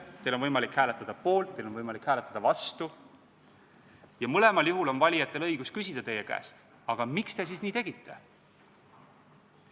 Teil on võimalik hääletada poolt, teil on võimalik hääletada vastu ja mõlemal juhul on valijatel õigus küsida teie käest, aga miks te siis nii tegite.